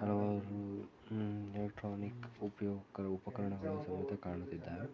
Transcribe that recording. ಹಲವಾರು ಊಹ್ ಇಲೆಕ್ಟ್ರಾನಿಕ್ ಉಪಯೋಗಗಳು ಉಪಕರಣಗಳು ಕಾಣುತ್ತಿದ್ದಾವೆ.